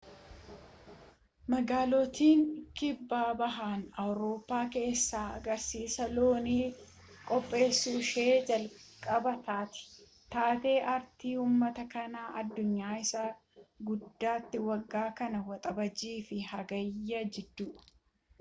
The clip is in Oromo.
magaalittiin kibbabaha awurooppaa keessaa agarsiisa loonii qopheesuun ishee jalqabaa taati taatee aartii uummataa kan addunyaa isa guddaati waggaa kana waxabajjii fi hagayya jidduu